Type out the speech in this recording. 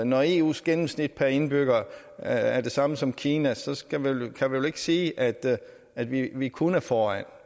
når eus gennemsnit per indbygger er er det samme som kinas kan man vel ikke sige at at vi vi kun er foran